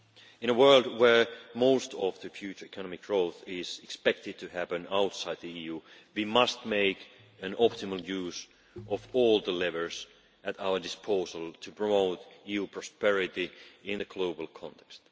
In a world where most of the future economic growth is expected to happen outside the EU, we must make optimal use of all the levers at our disposal to promote EU prosperity in a global context.